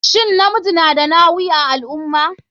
Shin namiji na da nawi a alummah?